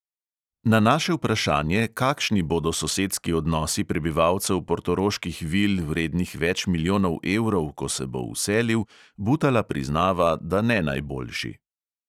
Na naše vprašanje, kakšni bodo sosedski odnosi prebivalcev portoroških vil, vrednih več milijonov evrov, ko se bo vselil, butala priznava, da ne najboljši.